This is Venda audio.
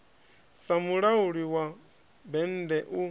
sa mulauli wa bennde u